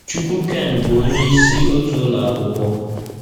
Chukwukaine bụ onyeisi otu ụlọ akwụkwọ.